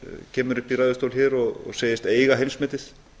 kemur hingað upp í ræðustól og segist eiga heimsmetið